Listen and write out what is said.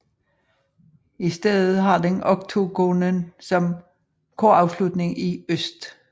I stedet har den oktogonen som korafslutning i øst